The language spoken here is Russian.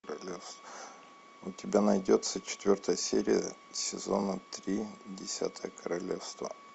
у тебя найдется четвертая серия сезона три десятое королевство